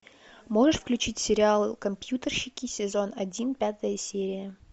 можешь включить сериал компьютерщики сезон один пятая серия